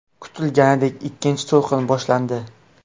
Kutilganidek ikkinchi to‘lqin boshlandi.